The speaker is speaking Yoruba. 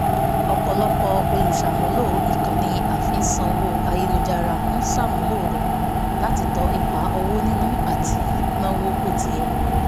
ọ̀pọ̀lọpọ̀ olùṣàmúlò ìkànnì àfisanwó ayélujára ń ṣàmúlò rẹ̀ láti tọ ipa owó níná àti náwo bó ti yẹ